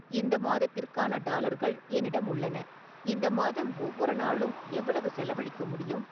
இந்த மாதத்திற்கான டாலர்கள் என்னிடம் உள்ளன இந்த மாதம் ஒவ்வொரு நாளும் எவ்வளவு செலவழிக்க முடியும்